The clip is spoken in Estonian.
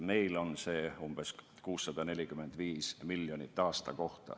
Meil on see summa umbes 645 miljonit aastas.